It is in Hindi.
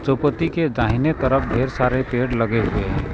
के दाहिने तरफ ढेर सारे पेड़ लगे हुए हैं।